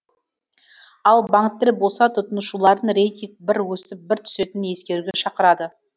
ал банктер болса тұтынушыларын рейтинг бір өсіп бір түсетінін ескеруге шақырады